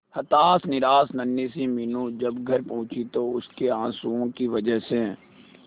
हताश निराश नन्ही सी मीनू जब घर पहुंची तो उसके आंसुओं की वजह से